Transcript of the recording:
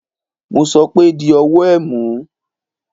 Mo sọ pé di ọwọ ẹ̀ mú.!